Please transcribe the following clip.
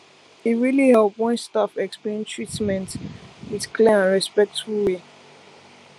e really help when staff explain treatment with clear and respectful way